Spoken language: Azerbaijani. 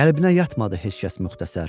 Qəlbinə yatmadı heç kəs müxtəsər.